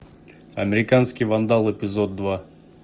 американский вандал эпизод два